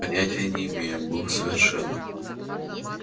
понятия не имею был совершенно